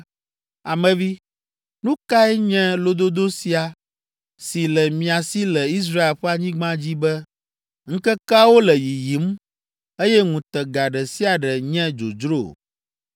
“Ame vi, nu kae nye lododo sia si le mia si le Israel ƒe anyigba dzi be, ‘Ŋkekeawo le yiyim, eye ŋutega ɖe sia ɖe nye dzodzro.’